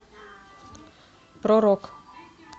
про рок